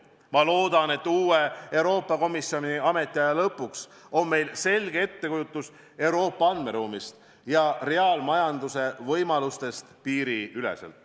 Ma loodan, et uue Euroopa Komisjoni ametiaja lõpuks on meil selge ettekujutus Euroopa andmeruumist ja reaalajamajanduse võimalustest piiriüleselt.